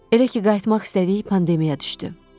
Elə ki qayıtmaq istədik, pandemiya düşdü.